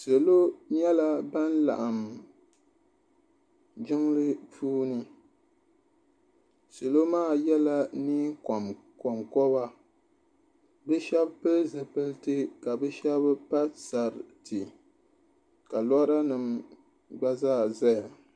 Salo nyɛla ban laɣim jiŋli puuni salo maa yɛla niɛn kɔnkɔba bi shɛba pili zipiliti ka bi shɛba pa sariti ka lɔra nim gba zaa zaya.